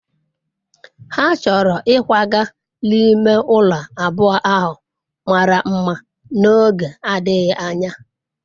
ha choro ikwaga n'ime ulo abuo ahu mara mma n'oge adighi anya